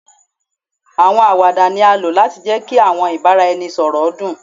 Awọn awada ni a lo lati jẹ ki awọn ibaraẹnisọrọ dun